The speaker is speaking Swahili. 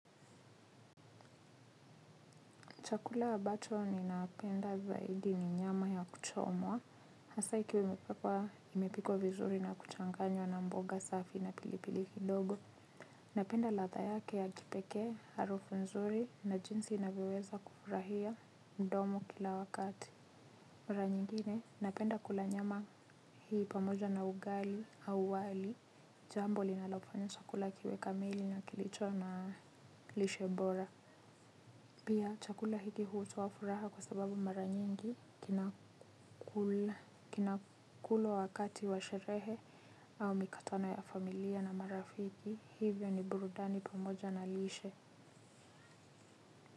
Chakula abacho ninapenda zaidi ni nyama ya kuchomwa. Hasa ikiwa imepikwa vizuri na kuchanganywa na mboga safi na pilipili kidogo. Napenda ladha yake ya kipekee, harufu nzuri na jinsi inavyoweza kufurahia mdomo kila wakati. Mara nyingine, napenda kula nyama hii pamoja na ugali au wali. Jambo linalo fanya chakula kiwe kamili na kilicho na lishe bora. Pia chakula hiki hutoa furaha kwa sababu mara nyingi kinakulwa wakati wa sherehe au mikutano ya familia na marafiki hivyo ni burudani pamoja na lishe.